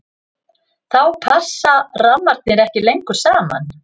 þá passa rammarnir ekki lengur saman